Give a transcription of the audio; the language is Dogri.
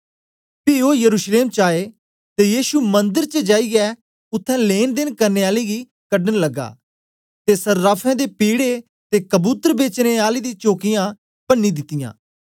पी ओ यरूशलेम च आए ते यीशु मंदर च जाईयै उत्थें लैंनदेन करने आले गी कढन लग्गा ते सर्राफें दे पीढ़े ते कबूतर बेचने आले दी चोकियाँ प्रती दितयां